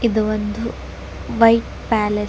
ಇದು ಒಂದು bike palace .